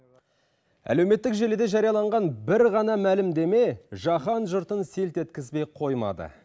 әлеуметтік желіде жарияланған бір ғана мәлімдеме жаһан жұртын селт еткізбей қоймады